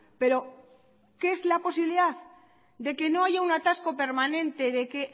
pero que es la posibilidad de que no haya un atasco permanente de que